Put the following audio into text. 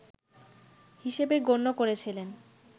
হিসেবে গণ্য করেছিলেন